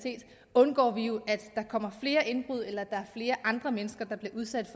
undgår vi jo at der kommer flere indbrud eller at der er flere andre mennesker der bliver udsat